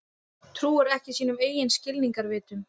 Trúir ekki sínum eigin skilningarvitum.